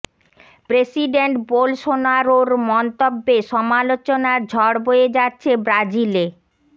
president বোলসোনারোর মন্তব্যে সমালোচনার ঝড় বয়ে যাচ্ছে ব্রাজিলে